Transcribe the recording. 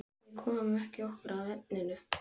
Náttmörður, pantaðu tíma í klippingu á föstudaginn.